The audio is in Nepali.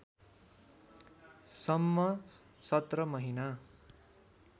सम्म १७ महिना